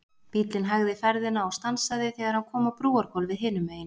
Bíllinn hægði ferðina og stansaði þegar hann kom á brúargólfið hinum megin.